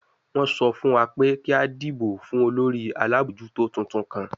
Wọ́n sọ fún wa pé kí a dìbò fún olórí alábòójútó tuntun kan